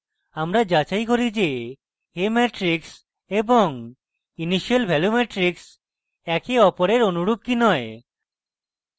আমরা যাচাই করি যে a matrix এবং initial ভ্যালু matrix একে অপরের অনুরূপ কি নয়